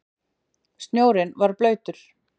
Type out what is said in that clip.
Snjórinn var blautur.